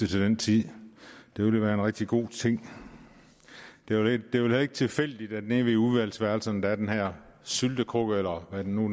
til den tid det ville være en rigtig god ting det er vel heller ikke tilfældigt at der nede ved udvalgsværelserne er den her syltekrukke eller hvad det nu